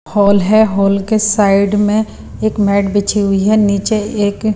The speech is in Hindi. हॉल है हॉल के साइड में एक मेट बिछी हुई है नीचे एक--